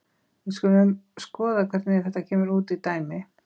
Við skulum skoða hvernig þetta kemur út í dæmi.